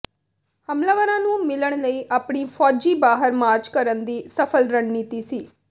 ਹਮਲਾਵਰਾਂ ਨੂੰ ਮਿਲਣ ਲਈ ਆਪਣੀ ਫੌਜੀ ਬਾਹਰ ਮਾਰਚ ਕਰਨ ਦੀ ਸਫਲ ਰਣਨੀਤੀ ਸੀ